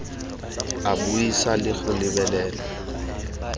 a buisa le go lebelela